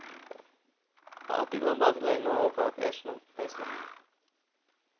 பார்த்துக்கலாம் பார்த்துக்கலாம் இன்னும் ஓப~ பேசணும் பேசலாம்